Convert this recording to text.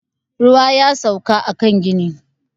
Ruwa ya sauka a kan ginin